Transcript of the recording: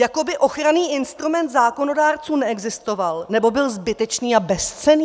Jako by ochranný instrument zákonodárců neexistoval, nebo byl zbytečný a bezcenný?